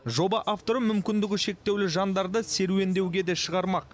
жоба авторы мүмкіндігі шектеулі жандарды серуендеуге де шығармақ